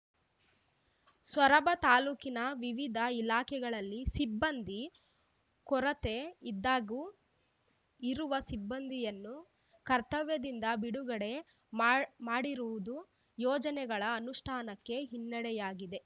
ಸೊರಬ ತಾಲೂಕಿನ ವಿವಿಧ ಇಲಾಖೆಗಳಲ್ಲಿ ಸಿಬ್ಬಂದಿ ಕೊರತೆ ಇದ್ದಾಗ್ಯೂ ಇರುವ ಸಿಬ್ಬಂದಿಯನ್ನು ಕರ್ತವ್ಯದಿಂದ ಬಿಡುಗಡೆ ಮಾಡಿರುವುದು ಯೋಜನೆಗಳ ಅನುಷ್ಠಾನಕ್ಕೆ ಹಿನ್ನಡೆಯಾಗಿದೆ